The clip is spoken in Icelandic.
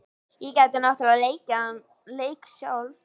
Ég gæti náttúrlega leikið þann leik sjálf.